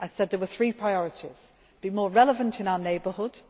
the foundations. I said there were three priorities to be more relevant in